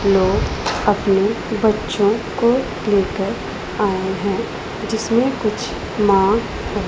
लोग अपने बच्चों को लेकर आए हैं जिसमें कुछ माँ --